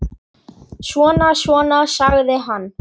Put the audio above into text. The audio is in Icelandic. Svona, svona, sagði hann.